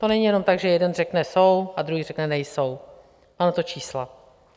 To není jenom tak, že jeden řekne jsou a druhý řekne nejsou, mám na to čísla.